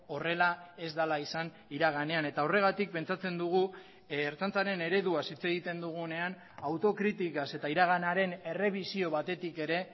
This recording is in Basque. horrela ez dela izan iraganean eta horregatik pentsatzen dugu ertzaintzaren ereduaz hitz egiten dugunean autokritikaz eta iraganaren errebisio batetik ere